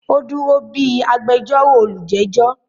ó dúró bí “agbẹjórò olùjẹ́jọ́”